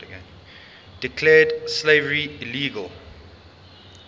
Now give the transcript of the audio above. declared slavery illegal